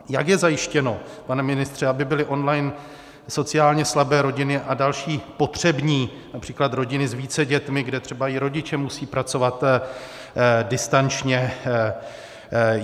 Jak je zajištěno, pane ministře, aby byly online sociálně slabé rodiny a další potřební, například rodiny s více dětmi, kde třeba i rodiče musejí pracovat distančně?